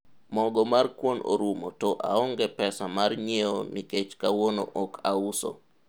mogo mar kuon orumo to aonge pesa mar nyiewo nikech kawuono ok auso